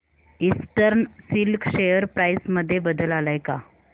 eastern Silk share price मध्ये बदल आलाय का